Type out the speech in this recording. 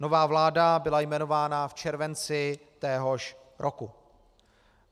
Nová vláda byla jmenována v červenci téhož roku.